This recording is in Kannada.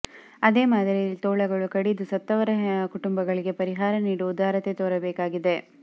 ಅದೇ ಮಾದರಿಯಲ್ಲಿ ತೋಳಗಳು ಕಡಿದು ಸತ್ತವರ ಕುಟುಂಬಗಳಿಗೆ ಪರಿಹಾರ ಕೊಡುವ ಉದಾರತೆ ತೋರಬೇಕಿದೆ